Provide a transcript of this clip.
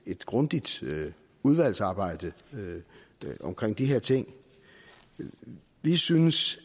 et grundigt udvalgsarbejde omkring de her ting vi synes